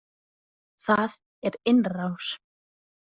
Það er innrás!